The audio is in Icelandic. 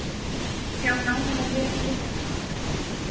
Sjá nánar á vef Neytendasamtakanna